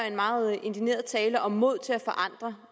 en meget indigneret tale om mod til at forandre